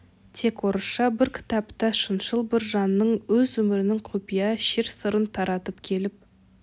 тек орысша бір кітапта шыншыл бір жанның өз өмірінің құпия шер сырын таратып келіп